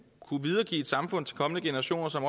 videregive et samfund til kommende generationer som